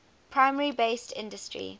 primary industry based